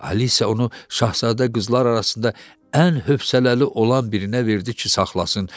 Alisiya onu şahzadə qızlar arasında ən hövsələli olan birinə verdi ki, saxlasın.